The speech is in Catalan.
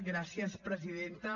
gràcies presidenta